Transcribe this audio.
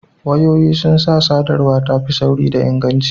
Wayoyi sun sa sadarwa ta fi sauri da inganci